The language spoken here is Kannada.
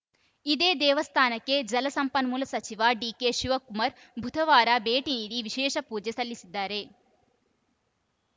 ಇದೇ ದೇವಸ್ಥಾನಕ್ಕೆ ಜಲಸಂಪನ್ಮೂಲ ಸಚಿವ ಡಿಕೆಶಿವಕುಮಾರ್‌ ಬುಧವಾರ ಭೇಟಿ ನೀಡಿ ವಿಶೇಷ ಪೂಜೆ ಸಲ್ಲಿಸಲಿದ್ದಾರೆ